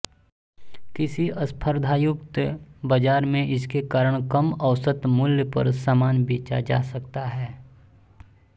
किसी स्पर्धायुक्त बाजार में इसके कारण कम औसत मूल्य पर सामान बेचा जा सकता है